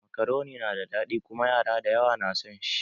Makaroni na da daɗi kuma yara da yawa na san shi